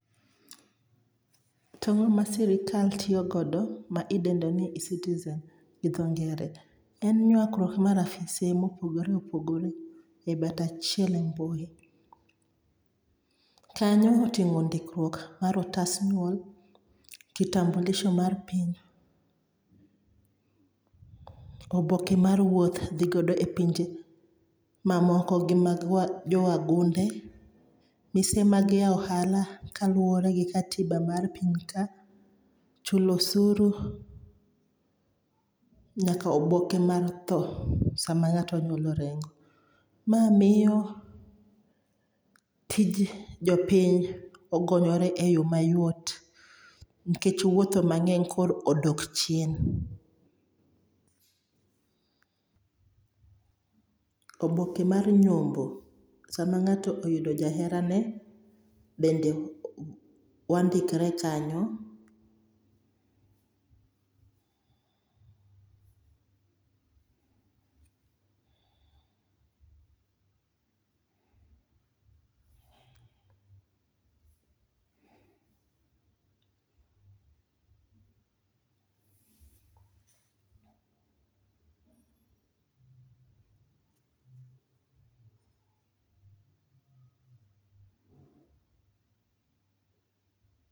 To ang'oma sirkal tiyogodo ma idendo ni ecitizen gi dho ngere? En nyuakruok mar afise mopogore opogore e badh achiel e mbui. Kanyo oting'o ndikruok mar otas nyuol, kitambulisho mar piny, oboke mar wuoth thigodo e pinje mamoko gi mag jowagunde. Mise mag yao ohala kaluore gi katiba mar piny ka. Chulo osuru, nyaka oboke mar thoo sama ng'ato ong'ielo orengo. Ma miyo tij jopiny okonyore e yo mayot nikech wuotho mang'eny koro odok chien. Oboke mar nyombo sama ng'ato oyudo jaherane bende wandikre kanyo.